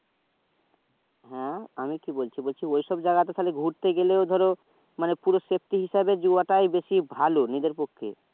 হ্যাঁ আমি কি বলছি ঐ সব জায়গাতে ঘুতে গেলে ধরো মানে পুরো safety হিসেবে যাওয়াটাই বেশি ভালো নিজের পক্ষে